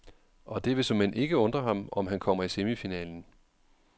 Og det vil såmænd ikke undre ham, om han kommer i semifinalen.